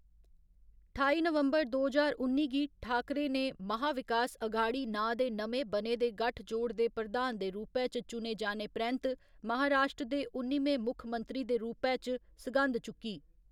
ठाई नवंबर दो ज्हार उन्नी गी, ठाकरे ने महा विकास अघाड़ी नांऽ दे नमें बने दे गठजोड़ दे प्रधान दे रूपै च चुने जाने परैंत महाराश्ट्र दे उन्निमें मुक्खमंत्री दे रूपै च सघंद चुक्की।